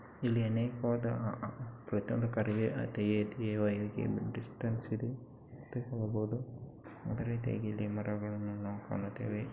ಇಲ್ಲಿ ಅನೇಕವಾದ ಡಿಸ್ಟೆನ್ಸ್ ಇದೆ ಅಂತ ಹೇಳಬಹುದು ಅದೇ ರೀತಿಯಾಗಿ ಮರಗಳನ್ನು ನಾವು ಕಾಣುತ್ತಿದೆ.